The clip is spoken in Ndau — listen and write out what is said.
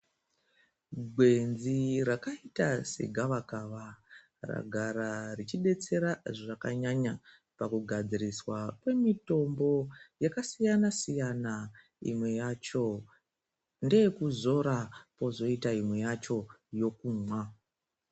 Gwenzi rakaita se gava kava rinogara richi detsera zvakanyanya paku gadziriswa kqe mitombo yaka siyana siyana imwe yacho ndeye kuzora kozoita imwe yacho yekumwa.